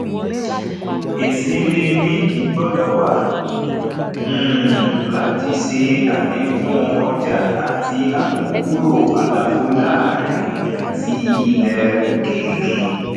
isini nídi gbọdọ wà um láti ṣe alekun ọjà àti amukuro àlàfo láàrin àti ilè òkèèrè